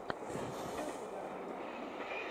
покажи драму